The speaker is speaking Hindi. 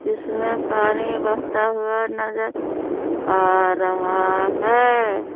इसमें पानी बहता हुआ नजर आ रहा है।